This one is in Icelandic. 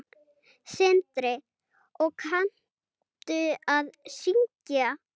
Sindri: Og kanntu að syngja?